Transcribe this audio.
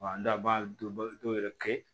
Wa an da b'a dɔw yɛrɛ kɛ